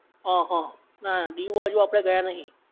હ હ, ના ના, દીવ બાજુ આપડે ગયા નહિ